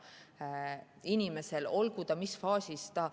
See inimene võib olla mis faasis tahes.